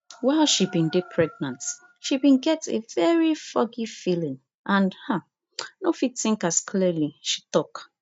while she bin dey pregnant she bin get a very foggy feeling and um no fit think as clearly she tok